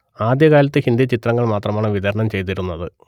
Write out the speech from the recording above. ആദ്യ കാലത്ത് ഹിന്ദി ചിത്രങ്ങൾ മാത്രമാണ് വിതരണം ചെയ്തിരുന്നത്